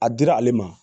A dira ale ma